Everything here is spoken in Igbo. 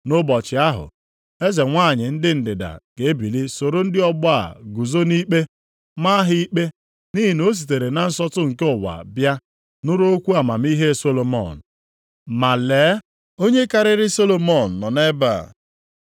Nʼụbọchị ahụ, eze nwanyị ndị ndịda ga-ebili soro ndị ọgbọ a guzo nʼikpe, maa ha ikpe, nʼihi na o sitere na nsọtụ nke ụwa bịa nụrụ okwu amamihe Solomọn, ma lee, onye karịrị Solomọn nọ nʼebe a.